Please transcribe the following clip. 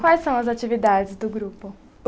Quais são as atividades do grupo?